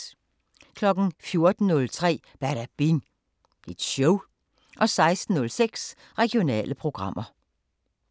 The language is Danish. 14:03: Badabing Show 16:06: Regionale programmer